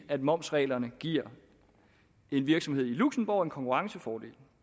at momsreglerne giver en virksomhed i luxembourg en konkurrencefordel